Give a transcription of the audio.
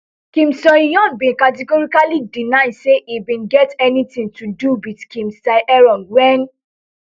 kim soohyun bin categorically deny say e bin get anytin to do wit kim sae ron wen